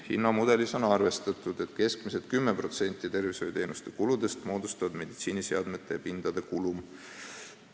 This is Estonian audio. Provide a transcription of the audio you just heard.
Hinnamudelis on arvestatud, et keskmiselt 10% tervishoiuteenuste kuludest moodustab meditsiiniseadmete ja pindade kulum.